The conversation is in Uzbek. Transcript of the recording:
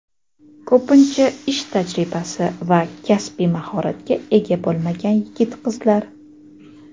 ko‘pincha ish tajribasi va kasbiy mahoratga ega bo‘lmagan yigit-qizlar.